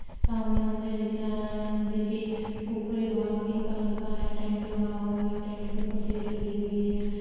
सामने मंदिर दिख रहा है मंदिर के ऊपरी भाग पिंक कलर का है टैंट लगा हुआ है टैंट के ऊपर सीट लगी है।